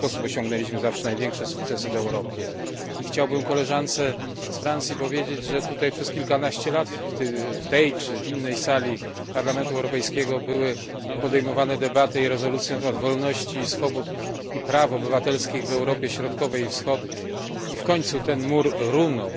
W ten sposób osiągnęliśmy zawsze największe sukcesy w Europie. I chciałbym koleżance z Francji powiedzieć, że tutaj, przez kilkanaście lat w tej, czy innej sali Parlamentu Europejskiego, były podejmowane debaty i rezolucje na temat wolności, swobód i praw obywatelskich w Europie Środkowej i Wschodniej, i w końcu ten mur runął.